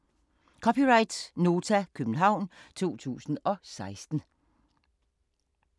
(c) Nota, København 2016